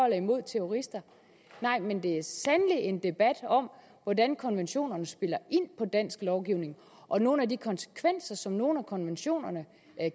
imod terrorister nej men det er sandelig en debat om hvordan konventionerne spiller ind på dansk lovgivning og nogle af de konsekvenser som nogle af konventionerne